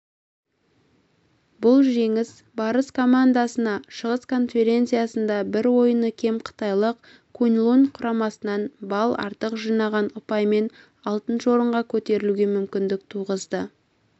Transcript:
бұл жеңіс барыс командасына шығыс конференциясында бір ойыны кем қытайлық куньлунь құрамасынан балл артық жинап ұпаймен алтыншы орынға көтерілуге мүмкіндік туғызды